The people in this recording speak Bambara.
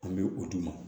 An bɛ o d'u ma